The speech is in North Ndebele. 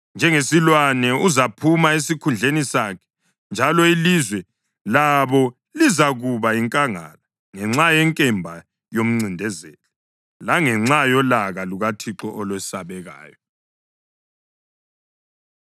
Njengesilwane uzaphuma esikhundleni sakhe, njalo ilizwe labo lizakuba yinkangala ngenxa yenkemba yomncindezeli langenxa yolaka lukaThixo olwesabekayo.